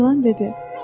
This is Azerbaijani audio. İlan dedi: